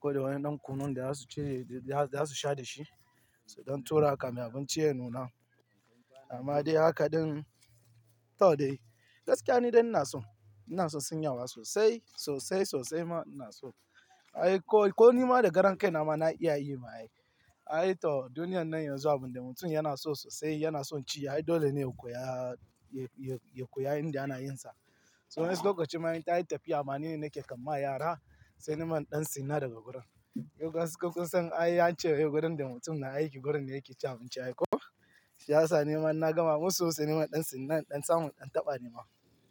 ko da wani ɗan kunun da za su ci, da za su sha da shi, dan tura kamin abinci ya nuna. Amma dai haka ɗin, to dai. Gaskiya ne dai ina so, ina so sin yawa sosai, sosai sosai ma ina so. Ai ko, ko ni ma da karon kai na ma na iya yi ma ai. Ai to duniyan nan yanzu abin da mutum yana so sosai yana son ci ai dole ne ku ya, ya, ya koya inda ana yin sa. To wai sai lokaci ma in tayi tafiya ma ni ne nake kan ma yara, sai niman ɗan sin na daga gurin. Yau gaskiya kun san ai an ce wai gurin da mutum na aiki gurin ne yake ci abinci ai ko? Shi ya sa niman na gama musu sai niman ɗan sin nan ɗan samun ɗan taɓa ne ma.